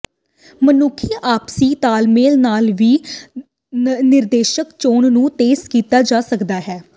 ਮਨੁੱਖੀ ਆਪਸੀ ਤਾਲਮੇਲ ਨਾਲ ਵੀ ਨਿਰਦੇਸ਼ਨਿਕ ਚੋਣ ਨੂੰ ਤੇਜ਼ ਕੀਤਾ ਜਾ ਸਕਦਾ ਹੈ